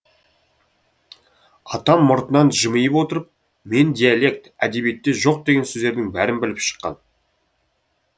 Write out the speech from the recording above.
атам мұртынан жымиып отырып мен диалект әдебиетте жоқ деген сөздердің бәрін біліп шыққан